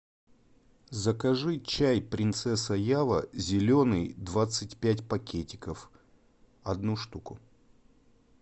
закажи чай принцесса ява зеленый двадцать пять пакетиков одну штуку